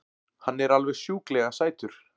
Hann er alveg sjúklega sætur!